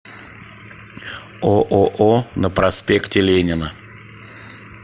ооо на проспекте ленина